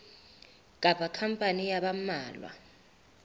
kapa khampani ya ba mmalwa